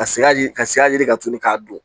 Ka siga yiri ka siga yiri ka turu k'a don